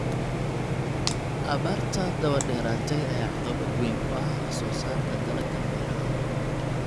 Abaarta daba dheeraatay ayaa caqabad weyn ku ah wax soo saarka dalagga beeraha.